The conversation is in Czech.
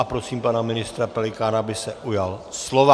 A prosím pana ministra Pelikána, aby se ujal slova.